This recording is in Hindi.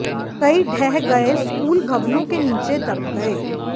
कई ढह गए स्कूल भवनों के नीचे दब गए